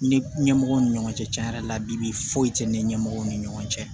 Ni ɲɛmɔgɔw ni ɲɔgɔn cɛ yɛrɛ labi foyi tɛ ne ni ɲɛmɔgɔw ni ɲɔgɔn cɛ